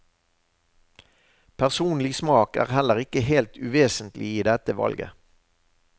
Personlig smak er heller ikke helt uvesentlig i dette valget.